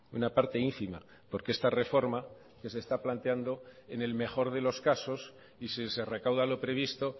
una parte ínfima porque esta reforma que se está planteando en el mejor de los casos y si se recauda lo previsto